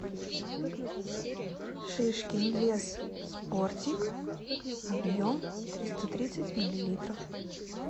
шишкин лес спортик объем триста тридцать миллилитров